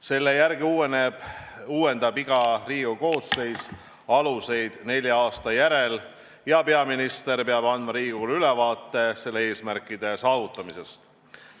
Selle järgi uuendab iga Riigikogu koosseis aluseid nelja aasta järel ja peaminister peab andma Riigikogule ülevaate selle eesmärkide saavutamisest.